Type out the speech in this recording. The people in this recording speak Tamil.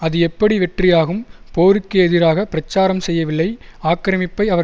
அது எப்படி வெற்றியாகும் போருக்கு எதிராக பிரச்சாரம் செய்யவில்லை ஆக்கிரமிப்பை அவர்